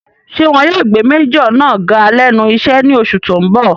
Ṣé wọn yóò gbé májọ̀ náà ga lẹ́nu iṣẹ́ ní oṣù tó n bọ̀?